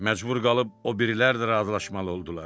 Məcbur qalıb o birilər də razılaşmalı oldular.